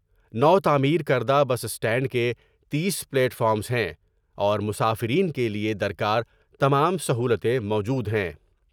نوتعمیر کردہ bus stand کے تیس پلیٹ فارمس ہیں اور مسافرین کیلئے در کار تمام سہولتیں موجود ہیں ۔